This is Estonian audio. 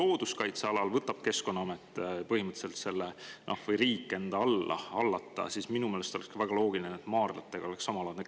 Kui looduskaitsealal võtab Keskkonnaamet ehk põhimõtteliselt riik selle enda hallata, siis minu meelest oleks väga loogiline, et maardlate puhul oleks samamoodi.